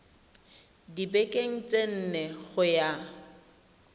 dibekeng tse nne go ya